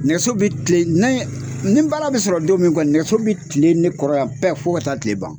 Nɛgɛ bi kilen ni ni baara bi sɔrɔ don min kɔni nɛgɛso bi kilee ne kɔrɔ yan pɛɛ fɔ ka taa kile ban